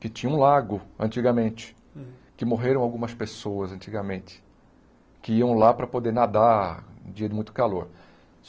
que tinha um lago antigamente, que morreram algumas pessoas antigamente, que iam lá para poder nadar no dia de muito calor.